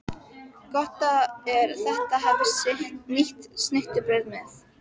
Gott er að hafa nýtt snittubrauð með.